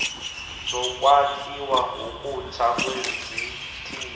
zokwakhiwa ngokutsha kwezithili